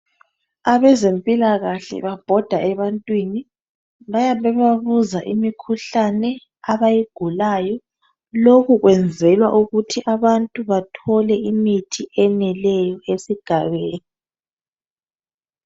Abezempilakahle babhoda ebantwini, bayabe bebabuza imikhuhlane abayigulayo. Lokhu kwenzelwa ukuthi abantu bathole imithi eneleyo esigabeni.